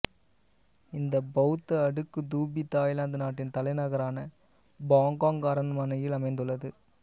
இந்த பௌத்த அடுக்குத் தூபி தாய்லாந்து நாட்டின் தலைநகரான பாங்காக் அரணமையில் அமைந்துள்ளது